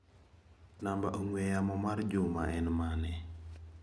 Namba ong'ue yamo mar Juma en manE?